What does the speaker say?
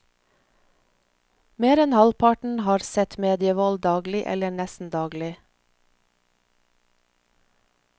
Mer enn halvparten har sett medievold daglig eller nesten daglig.